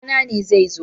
Babana ne zai zo.